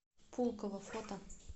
пулково фото